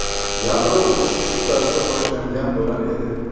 Yadro urushi shu tarzda boshlangan bo‘lar edi.